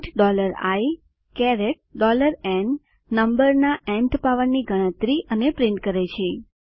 print iન નમ્બરના nth પાવરની ગણતરી અને પ્રિન્ટ કરે છે